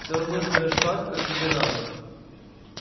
всё равно сделаешь так как тебе надо